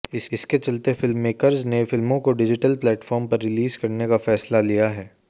इसके चलते फिल्ममेकर्स ने फिल्मों को डिजिटल प्लेटफॉर्म पर रिलीज करने का फैसला लिया है